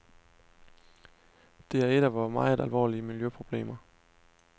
Det er et af vore meget alvorlige miljøproblemer.